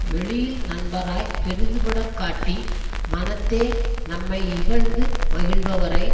வெளியில் நண்பராய்ப் பெரிதுபடக் காட்டி மனத்தே நம்மை இகழ்ந்து மகிழ்பவரை